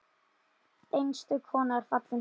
Einstök kona er fallin frá.